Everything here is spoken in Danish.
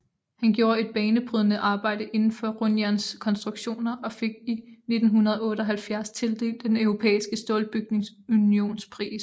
Han gjorde et banebrydende arbejde inden for rundjernskonstruktioner og fik i 1978 tildelt Den europæiske Stålbygningsunions pris